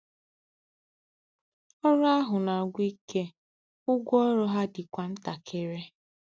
Ọrụ ahụ na-agwụ ike, ụgwọ ọrụ ha dịkwa ntakịrị.